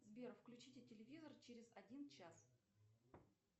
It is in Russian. сбер включите телевизор через один час